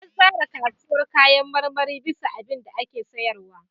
An tsara kasuwar kayan marmarin bisa abinda ake sayarwa.